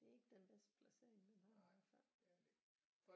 Det er ikke den bedste placering den har i hvert fald